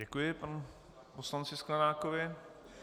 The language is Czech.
Děkuji panu poslanci Sklenákovi.